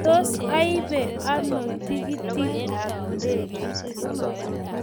tos aibee ano tikitit ab ndegeit